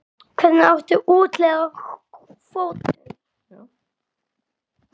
Hvernig átti að úthluta kvótum?